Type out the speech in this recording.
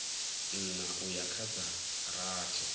nṋa uya kha dza rathi